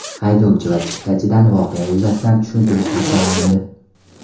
Haydovchi va chiptachidan voqea yuzasidan tushuntirish xati olindi.